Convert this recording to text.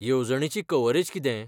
येवजणेची कव्हरेज कितें?